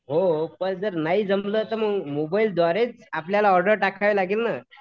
हो पण जर नाही जमलं तर मग मोबाईल द्वारेच आपल्याला ऑर्डर टाकायला लागेल नं